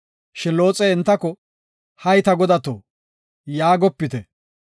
Shin Looxey entako, “Hay ta godato, yaagopite.